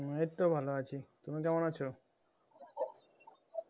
এই তো ভালো আছি তুমি কেমন আছো